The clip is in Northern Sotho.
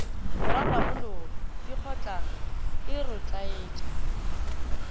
go rarabolola dikgotlang e rotloetsa